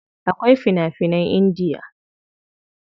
Akwai fina finan Indiya.